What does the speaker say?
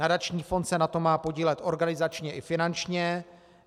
Nadační fond se na tom má podílet organizačně i finančně.